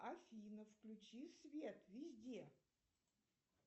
афина включи свет везде